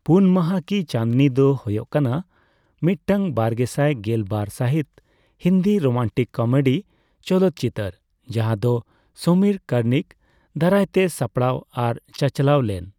ᱯᱩᱱ ᱢᱟᱦᱟ ᱠᱤ ᱪᱟᱸᱫᱱᱤ ᱫᱚ ᱦᱳᱭᱳᱜ ᱠᱟᱱᱟ ᱢᱤᱫᱴᱟᱝ ᱵᱟᱨᱜᱮᱥᱟᱭ ᱜᱮᱞ ᱵᱟᱨ ᱥᱟᱹᱦᱤᱛ ᱦᱤᱱᱫᱤ ᱨᱳᱢᱟᱱᱴᱤᱠ ᱠᱳᱢᱮᱹᱰᱤ ᱪᱚᱞᱚᱛ ᱪᱤᱛᱟᱹᱨ ᱡᱟᱦᱟᱸᱫᱚ ᱥᱚᱢᱤᱨ ᱠᱟᱨᱱᱤᱠ ᱫᱟᱨᱟᱭᱛᱮ ᱥᱟᱯᱲᱟᱣ ᱟᱨ ᱪᱟᱪᱞᱟᱣᱞᱮᱱ ᱾